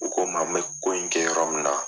U ko n ma, n be ko in kɛ yɔrɔ min na